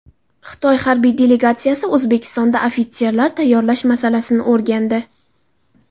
Xitoy harbiy delegatsiyasi O‘zbekistonda ofitserlar tayyorlash masalasini o‘rgandi.